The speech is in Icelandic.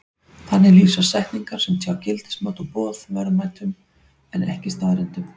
Þannig lýsa setningar sem tjá gildismat og boð verðmætum en ekki staðreyndum.